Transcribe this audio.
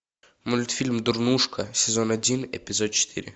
мультфильм дурнушка сезон один эпизод четыре